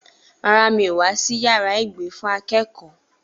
Rárá, mi ò wá sí yàrá ìgbé fún akẹ́kọ̀ọ́.